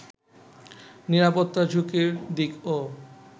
নিরাপত্তা ঝুঁকির দিকও